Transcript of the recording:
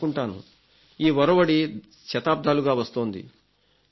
నేను అనుకుంటాను ఈ ఒరవడి శతాబ్దాలుగా వస్తోంది